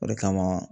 O de kama